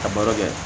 A baro kɛ